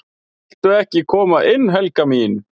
"""VILTU EKKI KOMA INN, HELGA MÍN!"""